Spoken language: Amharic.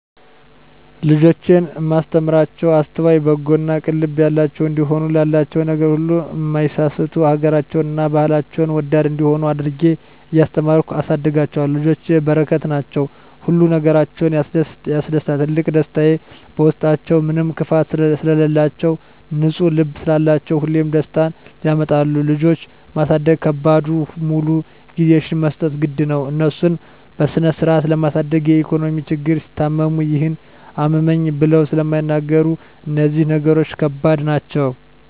ልጆቼን እማስተምራቸዉ አስተዋይ፣ በጎ እና ቅን ልብ ያላቸዉ እንዲሆኑ፣ ላላቸዉ ነገር ሁሉ እማይሳስቱ፣ ሀገራቸዉን እና ባህላቸዉን ወዳድ እንዲሆነ አድርጌ እያስተማርኩ አሳድጋቸዋለሁ። ልጆች በረከት ናቸዉ። ሁሉ ነገራቸዉ ያስደስታል ትልቁ ደስታየ በዉስጣችዉ ምንም ክፋት ስለላቸዉ፣ ንፁ ልብ ስላላቸዉ ሁሌም ደስታን ያመጣሉ። ልጆች ማሳደግ ከባዱ ሙሉ ጊዜሽን መስጠት ግድ ነዉ፣ እነሱን በስነስርአት ለማሳደግ የኢኮኖሚ ችግር፣ ሲታመሙ ይሄን አመመኝ ብለዉ ስለማይናገሩ እነዚህ ነገሮች ከባድ ናቸዉ።